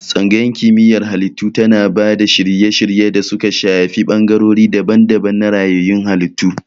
Tsangayar Kimiyyar Halittu tana ba da shirye-shirye da suka shafi bangarori daban-daban na rayayyun halittu.